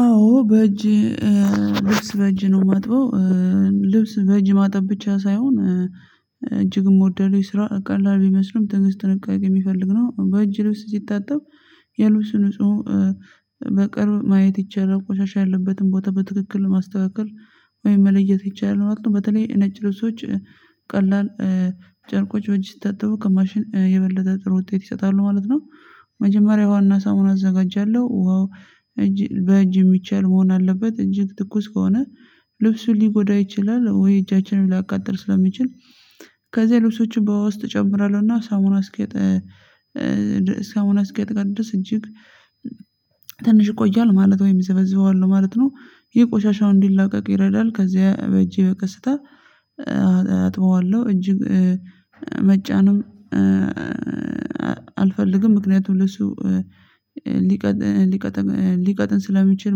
አዎ በእጅ ልብስ በእጅ ነው የማጥበው ልብስ በእጅ ማጠብ ብቻ ሳይሆን እጅግም የስራ ቀላል ቢመስልም ትንግስት ጥንቃቄ የሚፈልግ ነው። በእጅ ልብስ ሲታጠብ የልብሱ ንጹህ በቅርብ ማየት ይቻላል ቆሻሻ ያለበትን ቦታ በትክክል ማስተካከል ወይም መለየት ይቻላል ማለት ነው። በተለይ ነጭ ልብሶች ቀላል ጨርቆች ወጪ ታጥበው ከማሽን የበለጠ ጥሩ ውጤት ይሰጣሉ ማለት ነው። መጀመሪያ ዋና ሳሙና አዘጋጃለሁ። ውሃው ልብሱን ሊጎዳው ይችላል ወይም እጃችንን ሊያቃጥል ስለሚችል። ከዚህ ልብሶችን በውስጥ እጨምራለሁና ሳሙና ሳሙና እስኪያላብስ እጅግ ትንሽ ይቆያል ማለት ወይም ዘበዝበዋለሁ ማለት ነው። የቆሻሻውን እንዲለቀቅ ይረዳል። ከዚያ በእጄ በቅስታ አጥበዋለሁ እጅግ መጫንም አልፈልግም ምክንያቱም ለሱ ሊቀጥን ሊቀጥን ሊቀጥን ስለሚችል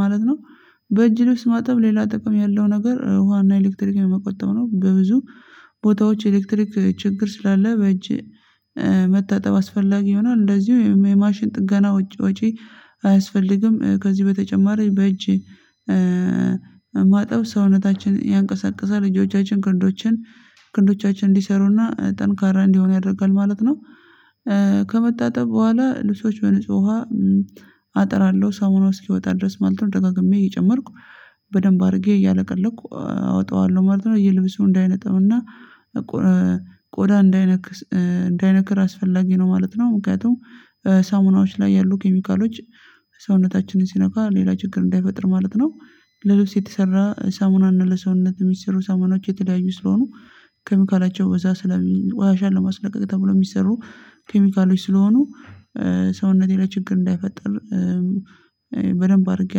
ማለት ነው። በእጅህ ውስጥ ማጠብ ሌላ ጥቅም ያለው ነገር ውሃና ኤሌክትሪክ የመቆጠብ ነው። በብዙ ቦታዎች ኤሌክትሪክ ችግር ስላለ በእጅ መታጠብ አስፈላጊ ይሆናል። እንደዚሁ የማሽን ጥገና ወጪ አያስፈልግም። ከዚህ በተጨማሪ በእጄ ማጠብ ሰውነታችን ያንቀሳቅሳል እጆቻችን ክንዶችን ክንዶቻችን እንዲሰሩና ጠንካራ እንዲሆን ያደርጋል ማለት ነው። ከመታጠብ በኋላ ልብሶች በንጹህ ውሃ አጥራለሁ ሰሞኑ እስኪወጣ ድረስ ማለት ነው። ደጋግሜ እየጨመርኩ በደንብ አድርጌ እያለቀለኩ አወጣዋለሁ ማለት ነው። ልለበሱ እንዳይነጠብና ቆዳ እንዳይነክር አስፈላጊ ነው ማለት ነው። ምክንያቱም ሳሙናዎች ላይ ያሉ ኬሚካሎች ሰውነታችንን ሲነካ ሌላ ችግር እንዳይፈጥር ማለት ነው። ለልብስ የተሰራ ሳሙናና ለሰውነት የሚሰሩ ሳሙናዎች የተለያዩ ስለሆኑ ኬሚካላቸው እዛ ስለሚዋሻ ለማስለቀቅ ተብሎ የሚሰሩ ኬሚካሎች ስለሆኑ ሰውነቴ ላይ ችግር እንዳይፈጠር በደንብ አድርጌ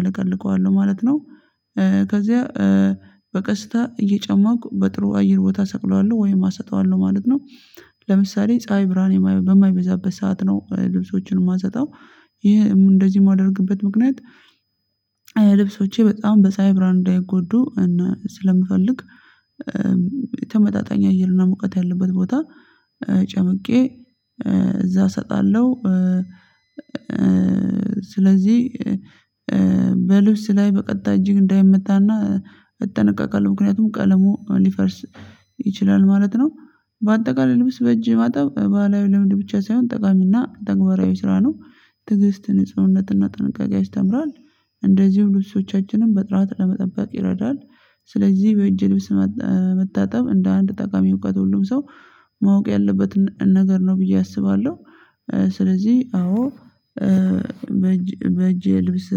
አለቀልቀዋለሁ ማለት ነው። ከዚያ በቀስታ እየጨመኩ በጥሩ አየር ቦታ ሰቅለዋለሁ ወይም አሰጠዋለሁ ማለት ነው። ለምሳሌ ፀሀይ ብርሃን በማይበዛበት ሰዓት ነው ልብሶችን የማሰጠው። እንደዚህ የማደርግበት ምክንያት ልብሶቼ በጣም ፀሀይ ብርሃን እንዳይጎዱ ስለምፈልግ ተመጣጣኝ አየርና ሙቀት ያለበት ቦታ ጨምቄ እዛ እሰጣለሁ። ስለዚህ በልብስ ላይ በቀጥታ እጅግ እንዳይመታና እጠነቃቃለሁ ምክንያቱም ቀለሙ ሊፈርስ ይችላል ማለት ነው። በአጠቃላይ ልብስ በእጅ ባህላዊ ልምድ ብቻ ሳይሆን ጠቃሚና ተግባራዊ ስራ ነው። ትዕግስት ንጽህና ጥንቃቄ ያስተምራል። እንደዚሁ ልብሶቻችንን በጥራት ለመጠበቅ ይረዳል። ስለዚህ በእጅ ልብስ መታጠብ እንደ አንድ ጠቃሚ እውቀት ሁሉም ሰው ማወቅ ያለበትን ነገር ነው ብዬ አስባለሁ። ስለዚህ አዎ በእጅ በእጄ ልብስ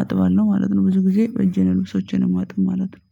አጥባለሁ ማለት ነው። ብዙ ጊዜ በእጄን ልብሶችንም አማጥበው ማለት ነው።